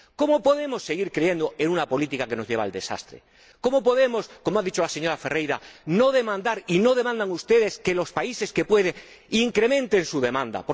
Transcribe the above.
¿Cómo podemos seguir creyendo en una política que nos lleva al desastre? ¿Cómo podemos, como ha dicho la señora Ferreira, no demandar —y no demandan ustedes— que los países que pueden incrementen su demanda?